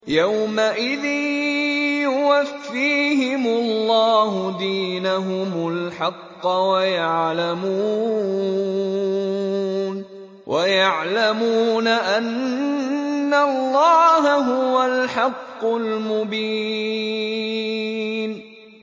يَوْمَئِذٍ يُوَفِّيهِمُ اللَّهُ دِينَهُمُ الْحَقَّ وَيَعْلَمُونَ أَنَّ اللَّهَ هُوَ الْحَقُّ الْمُبِينُ